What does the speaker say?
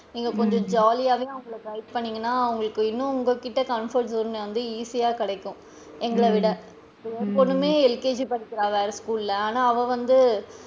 நீங்க கொஞ்சம் jolly யாவே அவுங்கள guide பன்னுனிங்கனா அவுங்களுக்கு இன்னும் உங்ககிட்ட comfort zone வந்து easy யா கிடைக்கும், எங்களைவிட என் பொண்ணுமே LKG படிக்கிறா வேற school ல ஆனா அவ வந்து,